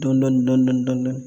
Dɔn dɔn dɔn dɔn dɔn dɔɔni